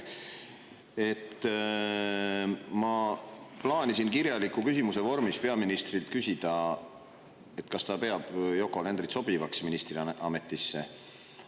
Ma plaanisin kirjaliku küsimuse vormis peaministrilt küsida, kas ta peab Yoko Alenderit sobivaks ministriametisse.